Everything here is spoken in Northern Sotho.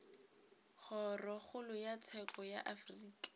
kgorokgolo ya tsheko ya afrika